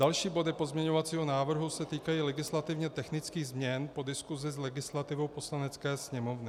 Další body pozměňovacího návrhu se týkají legislativně technických změn po diskusi s legislativou Poslanecké sněmovny.